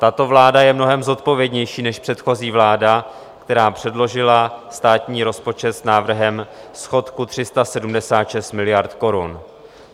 Tato vláda je mnohem zodpovědnější než předchozí vláda, která předložila státní rozpočet s návrhem schodku 376 miliard korun.